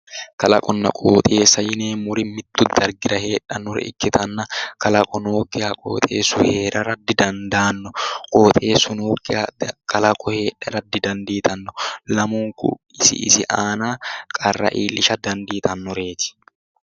Kalaqonna qooxeessa yineemmori mitto dargira heedhannore ikkitanna kalaqo nookkiha qooxeesu heerara didandaanno. qooxeessu nookkiha kalaqo heedhara didandiitanno. lamunku isi isi aana qarra iillishsha danditannoreeti.